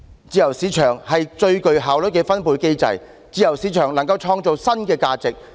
自由市場是最具效率的分配機制，自由市場能夠創造新的價值。